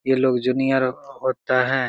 ये लोग जूनियर होता है।